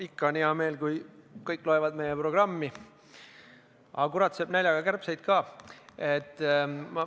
Ikka on hea meel, kui kõik loevad meie programmi, aga kurat sööb näljaga kärbseid ka.